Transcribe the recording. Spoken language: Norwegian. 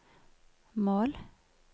mål